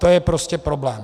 To je prostě problém.